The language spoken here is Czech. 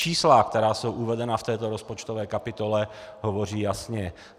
Čísla, která jsou uvedena v této rozpočtové kapitole, hovoří jasně.